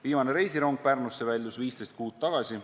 Viimane reisirong Pärnusse väljus 15 kuud tagasi.